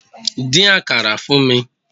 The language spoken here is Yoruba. Dín àkàrà fún mi!